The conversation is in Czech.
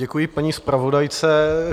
Děkuji paní zpravodajce.